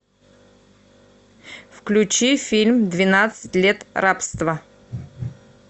включи фильм двенадцать лет рабства